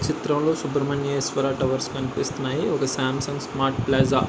ఈ చిత్రం లో సుబ్రహ్మణ్యేశ్వర టవర్స్ కనిపిస్తున్నాయి. ఒక సాంసంగ్ స్మార్ట్ ప్లాజా --